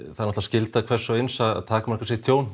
það er skylda hvers og eins að takmarka sitt tjón